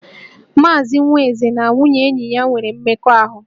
Maazị Nwaeze na nwunye enyi ya nwere mmekọahụ